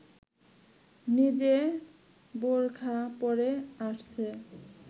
নিজে বোরখা পরে আসছে